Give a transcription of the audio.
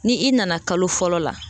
Ni i nana kalo fɔlɔ la